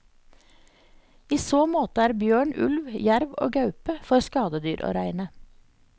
I så måte er bjørn, ulv, jerv og gaupe for skadedyr å regne.